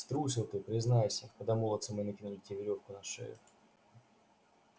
струсил ты признайся когда молодцы мои накинули тебе верёвку на шею